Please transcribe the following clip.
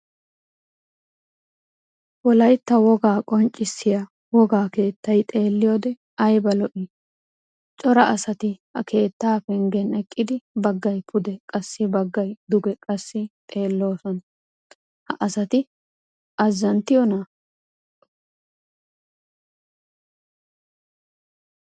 Wolaytta wogaa qonccissiya wogaa keettay xeeliyode ayba lo'ii! Cora asati ha keettaa penggen eqqidi baggay pude qassi baggay duge qassi xeelloosona. ha asati azanttiyona!